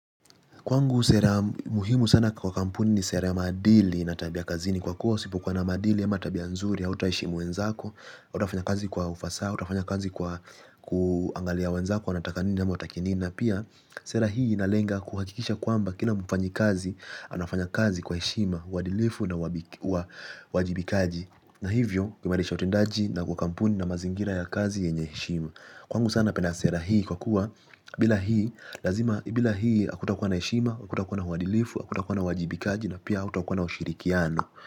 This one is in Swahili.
Kwangu sera muhimu sana kwa kampuni ni sera ya maadili na tabia kazini kwa kuwa usipuokuwa na maadili ama tabia nzuri hautaheshimu wenzako, hautafanya kazi kwa ufasaa, utafanya kazi kwa kuangalia wenzako, wanataka nini ama hawataki nini. Pia sera hii inalenga kuhakikisha kwamba kila mfanyikazi, anafanya kazi kwa heshima, uadilifu na uwajibikaji. Na hivyo, kuimarisha utendaji na kwa kampuni na mazingira ya kazi yenye heshima. Kwangu sana pana sera hii kwa kuwa bila hii hakutakuwa na heshima hakutakuwa na uadilifu hakutakuwa na uwajibikaji na pia hautakuwa na ushirikiano.